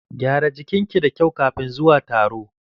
Gyara jikin ki da kyau kafin zuwa taro.